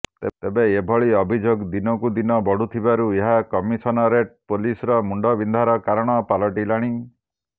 ତେବେ ଏଭଳି ଅଭିଯୋଗ ଦିନକୁ ଦିନ ବଢ଼ୁଥିବାରୁ ଏହା କମିସନରେଟ ପୁଲିସର ମୁଣ୍ଡବିନ୍ଧାର କାରଣ ପାଲଟିଲାଣି